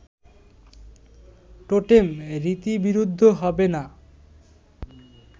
totem রীতিবিরুদ্ধ হবে না